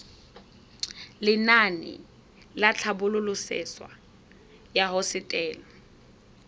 lenaane la tlhabololosewa ya hosetele